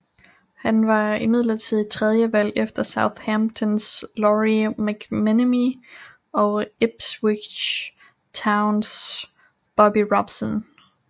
Han var imidlertid tredjevalg efter Southamptons Lawrie McMennemy og Ipswich Towns Bobby Robson